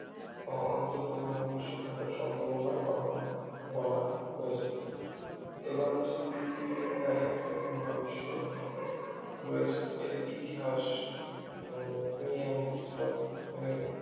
অন্তত মহাবিশ্ব থাকার সম্ভাবনা কথাও বলা হয়েছে এবার হচ্ছে পৃথিবীর planet এবং মহাবিশ্ব রয়েছে এর ইতিহাস উম নিয়ে আমরা কিছুটা মানে